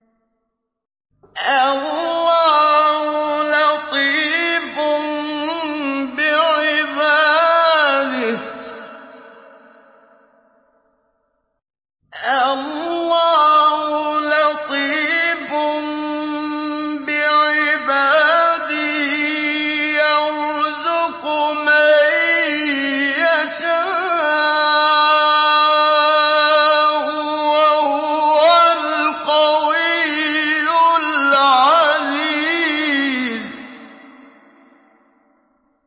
اللَّهُ لَطِيفٌ بِعِبَادِهِ يَرْزُقُ مَن يَشَاءُ ۖ وَهُوَ الْقَوِيُّ الْعَزِيزُ